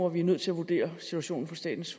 at vi er nødt til at vurdere situationen på statens